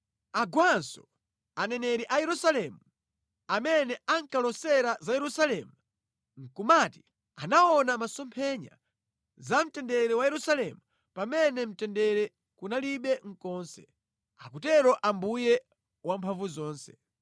Agwanso aneneri a Yerusalemu amene ankalosa za Yerusalemu nʼkumati anaona mʼmasomphenya za mtendere wa Yerusalemu pamene mtendere kunalibe konse, akutero Ambuye Wamphamvuzonse.’